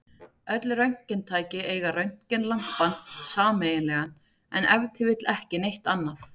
Öll röntgentæki eiga röntgenlampann sameiginlegan, en ef til vill ekki neitt annað!